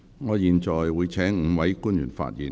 我現在會請5位官員發言。